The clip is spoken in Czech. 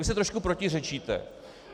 Vy si trošku protiřečíte.